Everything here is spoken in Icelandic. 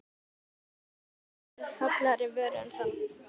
Er hægt að hugsa sér hollari vöru en það?